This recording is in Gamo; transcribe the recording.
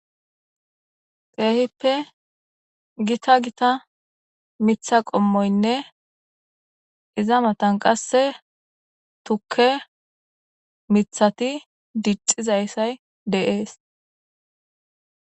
Keehippe gita gita mitha qommoynne iza matan qasse tukke mithati dixizayssay deees